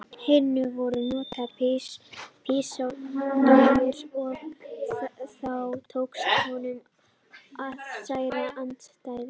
hinu voru notaðar pístólur og þá tókst honum að særa andstæðinginn.